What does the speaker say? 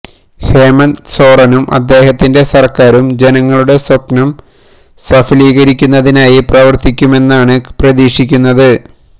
ഹേമന്ത് സോറനും അദ്ദേഹത്തിന്റെ സർക്കാരും ജനങ്ങളുടെ സ്വപ്നം സഫലീകരിക്കുന്നതിനായി പ്രവർത്തിക്കുമെന്നാണ് പ്രതീക്ഷിക്കുന്നത്